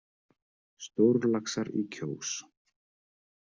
Stórlaxar í Kjós